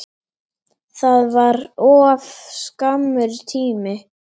Það var of skammur tími.